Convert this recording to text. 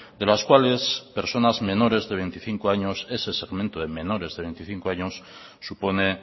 de las cuales personas menores de veinticinco años ese segmento de menores de veinticinco años supone